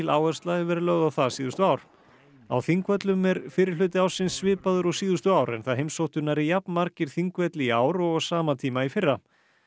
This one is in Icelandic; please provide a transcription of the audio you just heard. áhersla hefur verið lögð á það síðustu ár á Þingvöllum er fyrri hluti ársins svipaður og síðustu ár en það heimsóttu nærri jafn margir Þingvelli í ár og á sama tíma í fyrra